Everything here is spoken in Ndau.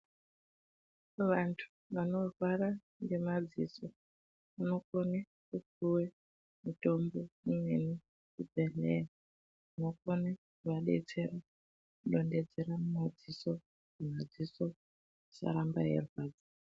Vanthu vanorwara ngemadziso vanofana kupuwa mitombo imweni kuzvibhedhlera inokone kuvadetsera kudondedzera mumariso kuti madziso asaramba eirwadza.